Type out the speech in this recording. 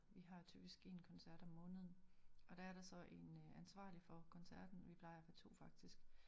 Vi har typisk én koncert om måneden og der er der så en ansvarlig for koncerten vi plejer at få to faktisk